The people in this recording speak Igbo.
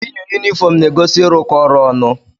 Iyi yunifọọm na-egosi ịrụkọ ọrụ ọnụ.